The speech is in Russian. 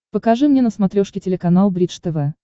покажи мне на смотрешке телеканал бридж тв